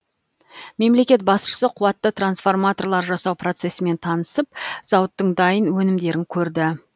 мемлекет басшысы қуатты трансформаторлар жасау процесімен танысып зауыттың дайын өнімдерін көрді